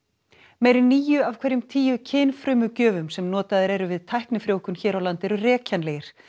meira en níu af hverjum tíu kynfrumugjöfum sem notaðir eru við tæknifrjóvgun hér á landi eru rekjanlegir